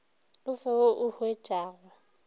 o fe wo o huetšago